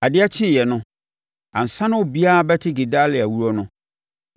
Adeɛ kyeeɛ no, ansa na obiara bɛte Gedalia wuo no,